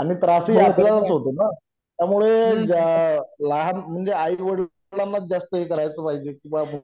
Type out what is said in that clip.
आणि त्रासही आपल्याला च होतो ना त्यामुळे ज्या लहान म्हणजे आई वडिलाना च जास्त हे करायचं पाहिजे की बाबा